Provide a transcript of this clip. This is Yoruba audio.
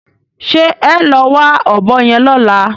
Ṣé ẹ́ o lọ wá ọ̀bọ yẹn lọ́la?